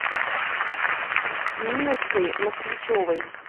ниночкой москвичевой